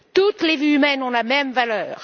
Toutes les vies humaines ont la même valeur.